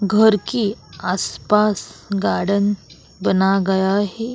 घर के आसपास गार्डन बना गया है।